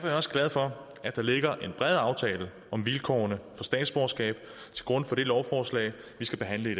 jeg også glad for at der ligger en bred aftale om vilkårene for statsborgerskab til grund for det lovforslag vi skal behandle i